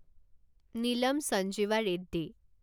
Neelam Sanjiva Reddy